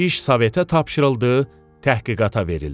İş Sovetə tapşırıldı, təhqiqata verildi.